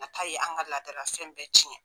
Nata ye an ka ladarafɛn bɛɛ ciyɛn